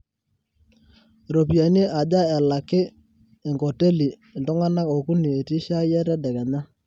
ropiyani aja elaki enkoteli iltungana okuni etii shai e tedekenya